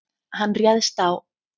Hann réðst á